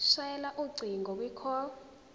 shayela ucingo kwicall